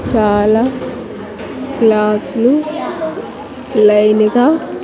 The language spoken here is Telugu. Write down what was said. చాలా క్లాసులు లైన్ గా.